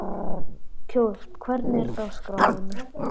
Kjói, hvernig er dagskráin?